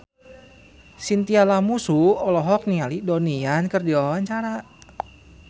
Chintya Lamusu olohok ningali Donnie Yan keur diwawancara